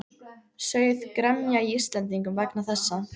Sauð gremja í Íslendingum vegna þessa.